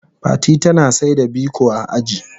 Fati tana saida biko a aji.